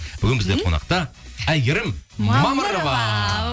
бүгін бізде қонақта әйгерім мамырова